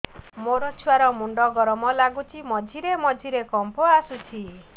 ମୋ ଛୁଆ ର ମୁଣ୍ଡ ଗରମ ଲାଗୁଚି ମଝିରେ ମଝିରେ କମ୍ପ ଆସୁଛି